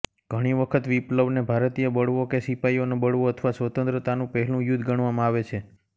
ઘણી વખત વિપ્લવને ભારતીય બળવો કે સિપાઈઓનો બળવો અથવા સ્વતંત્રતાનું પહેલું યુદ્ધ ગણવામાં આવે છે